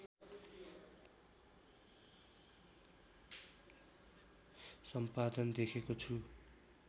सम्पादन देखेको छु